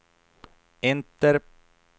enter